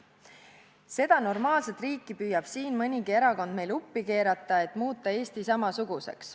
Seda normaalset riiki püüab siin mõnigi erakond meil uppi keerata, et muuta Eesti samasuguseks.